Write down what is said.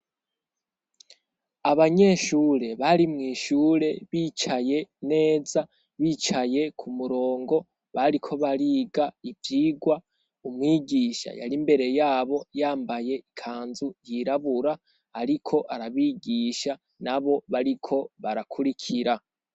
Abanyeshure bari mw'ishure bicaye neza bicaye k'umurongo bariko bariga ivyigwa. Umwigisha yar'imbere yabo yambaye ikanzu yirabura ariko arabigisha nabo bariko barakurikira.